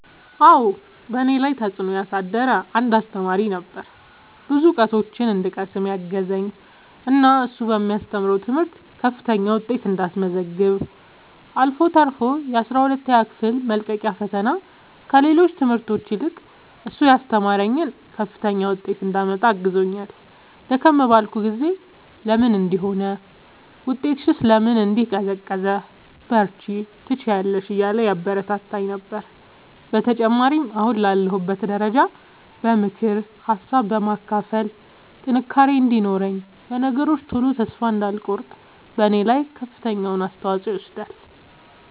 አዎ በእኔ ላይ ተፅእኖ ያሳደረ አንድ አሰተማሪ ነበረ። ብዙ እውቀቶችን እንድቀስም ያገዘኝ እና እሱ በሚያስተምረው ትምህርት ከፍተኛ ውጤት እንዳስመዘግብ አልፎ ተርፎ የአስራ ሁለተኛ ክፍል መልቀቂያ ፈተና ከሌሎች ትምህርቶች ይልቅ እሱ ያስተማረኝን ከፍተኛ ውጤት እንዳመጣ አግዞኛል። ደከም ባልኩ ጊዜ ለምን እንዲህ ሆነ ውጤትሽስ ለምን እንዲህ ቀዘቀዘ በርቺ ትችያለሽ እያለ ያበረታታኝ ነበረ። በተጨማሪም አሁን ላለሁበት ደረጃ በምክር ሀሳብ በማካፈል ጥንካሬ እንዲኖረኝ በነገሮች ቶሎ ተስፋ እንዳልቆርጥ በኔ ላይ ከፍተኛውን አስተዋፅኦ ይወስዳል።